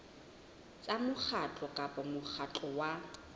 tsa mokgatlo kapa mokgatlo wa